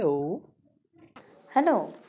hello